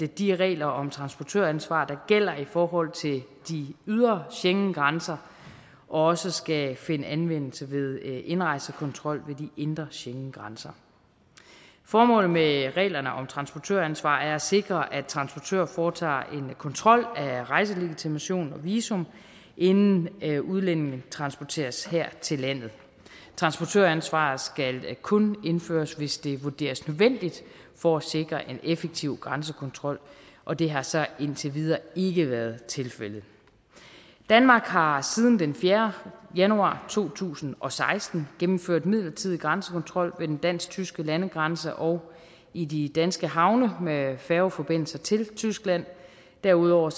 de regler om transportøransvar der gælder i forhold til de ydre schengengrænser også skal finde anvendelse ved indrejsekontrol ved de indre schengengrænser formålet med reglerne om transportøransvar er at sikre at transportør foretager en kontrol af rejselegitimation og visum inden udlændinge transporteres her til landet transportøransvaret skal kun indføres hvis det vurderes nødvendigt for at sikre en effektiv grænsekontrol og det har så indtil videre ikke været tilfældet danmark har siden den fjerde januar to tusind og seksten gennemført midlertidig grænsekontrol ved den dansk tyske landegrænse og i de danske havne med færgeforbindelser til tyskland derudover